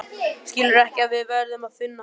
Skilurðu ekki að við verðum að finna hann?